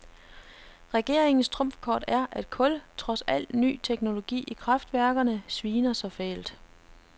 Regeringens trumfkort er, at kul, trods al ny teknologi i kraftværkerne, sviner så fælt.